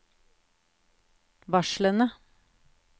varslene